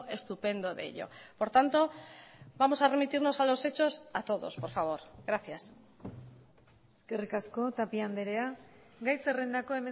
estupendo de ello por tanto vamos a remitirnos a los hechos a todos por favor gracias eskerrik asko tapia andrea gai zerrendako